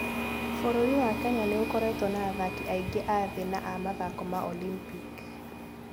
Bũrũri wa Kenya nĩ ũkoretwo na athaki aingĩ a thĩ na a mathako ma Olympic.